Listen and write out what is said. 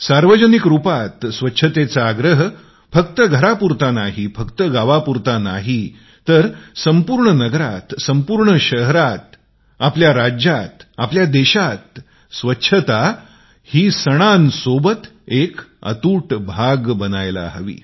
सार्वजनिक रूपात स्वच्छतेचा आग्रह फक्त घरात नाही संपूर्ण गावात संपूर्ण नगरात संपूर्ण शहरात आपल्या राज्यात आपल्या देशातस्वच्छता ही सणांसोबत एक अतूट भाग बनायला हवा